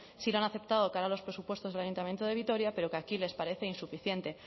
sí que han aceptado cara a los presupuestos del ayuntamiento de vitoria pero que aquí les parece insuficiente